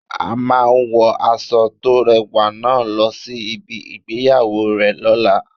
A máa wo aṣọ to rẹwà náà lọ sí ibi ìgbéyàwó rẹ lola